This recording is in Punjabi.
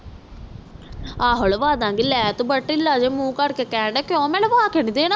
ਆਹੋ ਲਾਵਾਂ ਦਾ ਗਏ ਤੂੰ ਬੜਾ ਢਿੱਲਾ ਜਾ ਮੂੰਹ ਕਰਕੇ ਕਹਿਣ ਦਾ ਆ ਕਿਉ ਮੈਂ ਲਾਵਾਂ ਕੇ ਨੀ ਦੇਣਾ